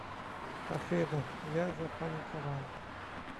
афина я запаниковал